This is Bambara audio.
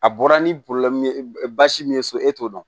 A bɔra ni basi min ye so e t'o dɔn